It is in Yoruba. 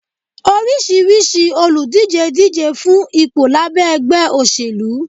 orisirisi oludije díjé fun ìpo labé ẹgbẹ́ osélú